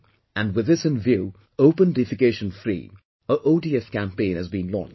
And, with this in view 'Open Defecation Free' or ODF Campaign has been launched